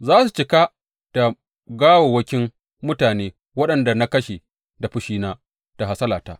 Za su cika da gawawwakin mutane waɗanda na kashe da fushina da hasalata.